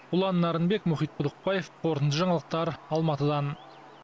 ұлан нарынбек мұхит құдықбаев қорытынды жаңалықтар алматыдан